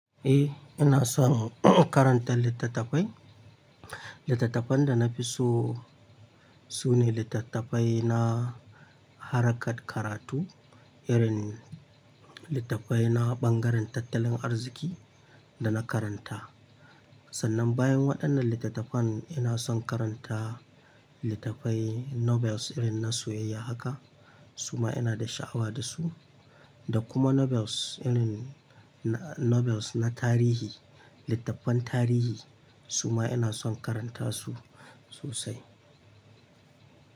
Eh, ina son in karanta littattafai. Littattafan da na fi so, sune littattafai na harkar karatu, irin littafai na bangaren tattalin arziki da na karanta. Sannan bayan waɗannan littattafan, ina son karanta littafai novels irin na soyayya haka. Su ma ina da sha'awa da su da kuma novels irin na-- novels na tarihi, littafan tarihi su ma ina son karanta su sosai.